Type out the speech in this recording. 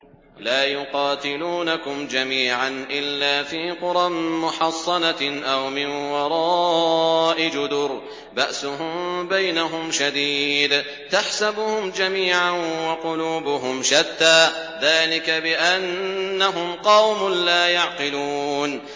لَا يُقَاتِلُونَكُمْ جَمِيعًا إِلَّا فِي قُرًى مُّحَصَّنَةٍ أَوْ مِن وَرَاءِ جُدُرٍ ۚ بَأْسُهُم بَيْنَهُمْ شَدِيدٌ ۚ تَحْسَبُهُمْ جَمِيعًا وَقُلُوبُهُمْ شَتَّىٰ ۚ ذَٰلِكَ بِأَنَّهُمْ قَوْمٌ لَّا يَعْقِلُونَ